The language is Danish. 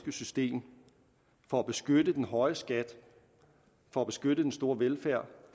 system for at beskytte den høje skat for at beskytte den store velfærd og